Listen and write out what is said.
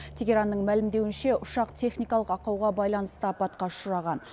тегеранның мәлімдеуінше ұшақ техникалық ақауға байланысты апатқа ұшыраған